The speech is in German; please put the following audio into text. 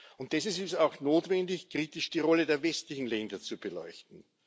Und deshalb ist es auch notwendig, kritisch die Rolle der westlichen Länder zu beleuchten.